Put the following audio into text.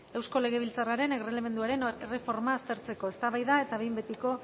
eusko legebiltzarraren erregelamenduaren erreforma aztertzeko eztabaida eta behin betiko